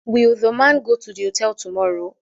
Will the man go to the hotel tomorrow